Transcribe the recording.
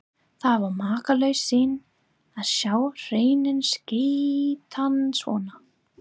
Það var makalaus sýn að sjá hreininn skreyttan svona.